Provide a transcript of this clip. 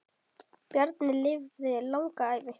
Bjarni lifði langa ævi.